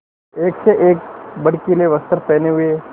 एक से एक भड़कीले वस्त्र पहने हुए